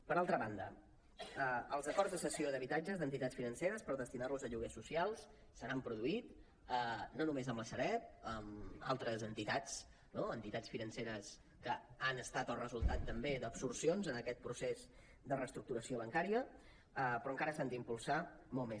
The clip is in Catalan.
per altra banda els acords de sessió d’habitatges d’entitats financeres per destinar los a lloguers socials se n’han produït no només amb la sareb amb altres entitats no entitats financeres que han estat el resultat també d’absorcions en aquest procés de reestructuració bancària però encara s’han d’impulsar molt més